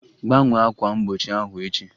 Gbanwee ákwà mgbochi ahụ echi!